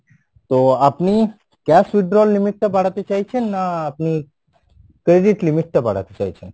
তো আপনি cash withdrawal limit টা বাড়াতে চাইছেন না আপনি credit limit টা বাড়াতে চাইছেন?